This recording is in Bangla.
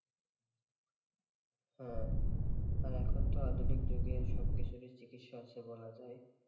হ্যাঁ, আর এখন তো আধুনিক যুগে সব কিছুরই চিকিৎসা আছে বলা যায়,